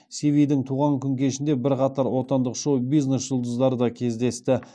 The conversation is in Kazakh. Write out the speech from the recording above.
сивидің туған күн кешінде бірқатар отандық шоу бизнес жұлдыздары да кездесті